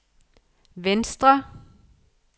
venstre